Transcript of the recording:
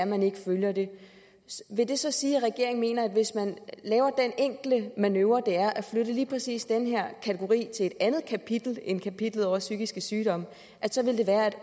man ikke følger det vil det så sige at regeringen mener at hvis man laver den enkle manøvre det er at flytte lige præcis den her kategori til et andet kapitel end kapitlet over psykiske sygdomme så vil det være at